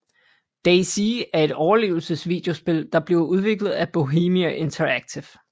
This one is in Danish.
DayZ er et overlevelse videospil der bliver udviklet af Bohemia Interactive